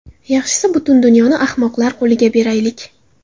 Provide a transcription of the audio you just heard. Yaxshisi butun dunyoni ahmoqlar qo‘liga beraylik.